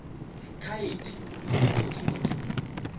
khaete bonoko e be e